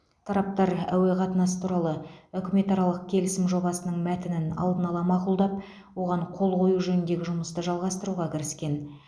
тараптар әуе қатынасы туралы үкіметаралық келісім жобасының мәтінін алдын ала мақұлдап оған қол қою жөніндегі жұмысты жалғастыруға кіріскен